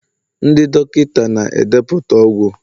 ndị dọkịta na-edepụta ọgwụ.